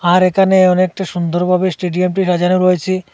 আর এখানে অনেকটা সুন্দরভাবে স্টেডিয়ামটি সাজানো রয়েছে।